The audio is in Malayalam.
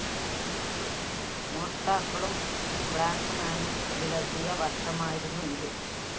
മോഷ്ടാക്കളും ബ്ലാക്ക്മാനും വിലസിയ വര്‍ഷമായിരുന്നു ഇത്